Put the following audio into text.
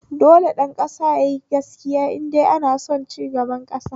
Dole ɗan ƙasa yayi gaskiya indai ana son cigaba a ƙasa